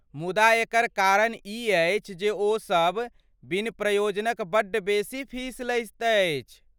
मुदा एकर कारण ई अछि जे ओसब बिन प्रयोजनक बड्ड बेसी फीस लैत अछि।